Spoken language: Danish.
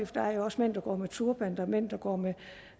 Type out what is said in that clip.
der er jo også mænd der går med turban og der er mænd der går med